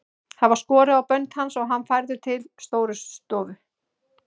Það var skorið á bönd hans og hann færður til Stórustofu.